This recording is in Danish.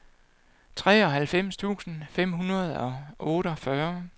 treoghalvfems tusind fem hundrede og otteogfyrre